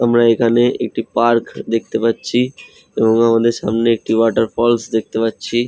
আমরা এখানে একটি পার্ক দেখতে পাচ্ছি এবং আমাদের সামনে একটি ওয়াটার ফলস দেখতে পাচ্ছি।